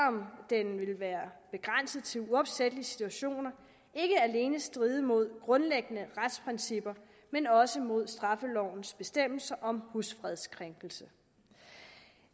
om den vil være begrænset til uopsættelige situationer ikke alene stride mod grundlæggende retsprincipper men også mod straffelovens bestemmelser om husfredskrænkelser